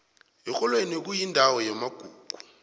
erholweni kuyindawo yamagugu